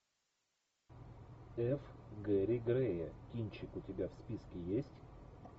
ф гэри грея кинчик у тебя в списке есть